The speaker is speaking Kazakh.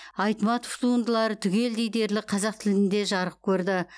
айтматов туындылары түгелдей дерлік қазақ тілінде жарық көрді